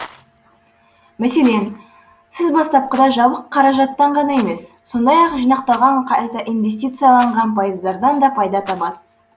мәселен сіз бастапқыда жабық қаражаттан ғана емес сондай ақ жинақталған қайта инвестицияланған пайыздардан да пайда табасыз